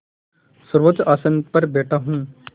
सर्वोच्च आसन पर बैठा हूँ